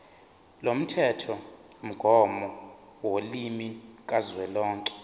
lomthethomgomo wolimi kazwelonke